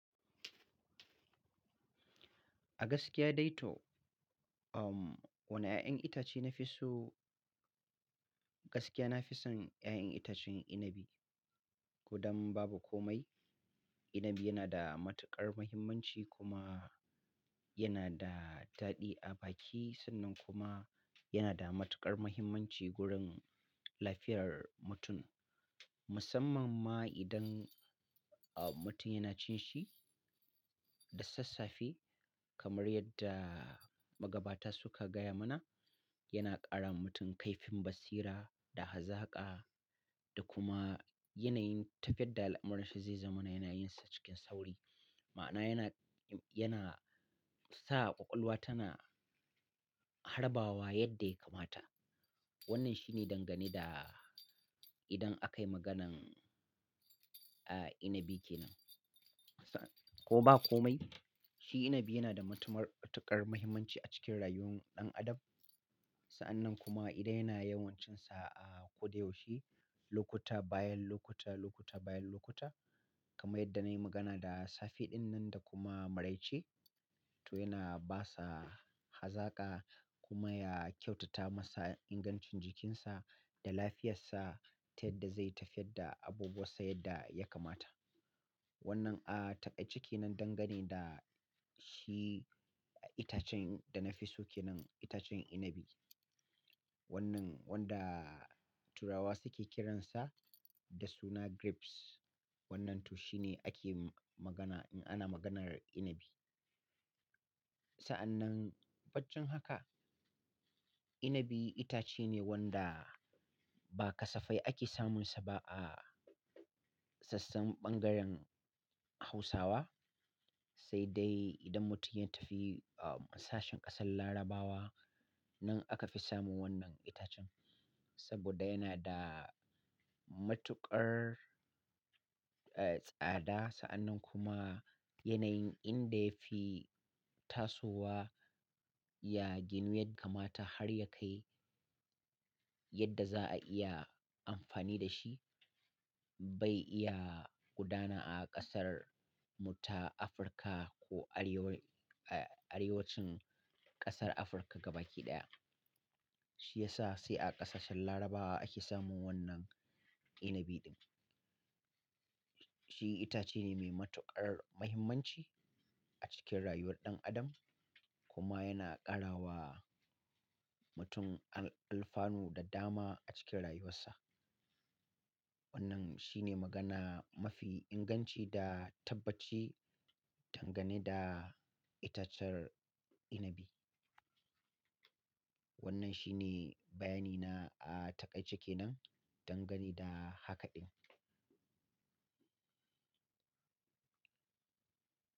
A gaskiya dai to, wane ƴaƴan itace nafi so? Gaskiya nafi son ƴaƴan itacen inabi. Kodan babu komai, inabi yana da matuƙar mahimmanci kuma yana da daɗi a baki. Sannan kuma yana da matuƙar mahimmanci wurin lafiyar mutum. Musamman ma idan mutum yana cin shi da sassafe kamar yadda magabata suka gaya mana, yana ƙara wa mutum kaifin basira da hazaƙa da kuma yanayin tafiyar da al'amura zai zamana yana yinsa cikin sauri. Ma'ana yana, yana sa ƙwaƙwalwa tana harbawa yadda ya kamata. Wannan shine dangane da idan akayi maganan, a, inabi kenan. Ko ba komai, shi inabi yana da matuƙar mahimmanci a cikin rayuwar ɗan adam. Sa'annan kuma idan yana yawan cin sa a ko da yaushe, lokuta bayan lokuta, lokuta bayan lokuta kamar yadda nayi magana da safe ɗin nan da kuma maraice to yana basa hazaƙa kuma ya kyautata masa ingancin jikinsa da lafiyarsa ta yadda zai tafiyar da abubuwa sai dadda ya kamata. Wannan a taƙaice kenan dangane da shi itacen da nafi so kenan, itacen inabi. Wannan wanda turawa suke kiransa da suna grapes. Wannan to shine ake magana in ana maganar inabi. Sa'annan baccin haka, inabi itace ne wanda ba kasafai ake samunsa ba a sassan ɓangaren Hausawa. Sai dai idan mutum yana tafi a sashen ƙasar Larabawa nan aka fi samun wannan itacen. Saboda yana da matuƙar, eh, tsada. Sa'annan kuma yanayin inda yafi tasowa ya ginu yadda kamata har ya kai yadda za'a iya amfani da shi. Bai iya gudana a ƙasar mu ta Afirka ko arewacin ƙasar Afirka gaba ki ɗaya. Shi yasa sai a ƙasashen Larabawa ake samun wannan inabiɗin. Shi itace ne mai matuƙar mahimmanci a cikin rayuwar ɗan adam kuma yana ƙarawa mutum alfanu da dama a cikin rayuwarsa. Wannan shine magana mafi inganci da tabbaci dangane da itacen inabi. Wannan shine bayani na a taƙaice kenan dangane da hakaɗin.